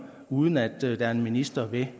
uden at der er en minister med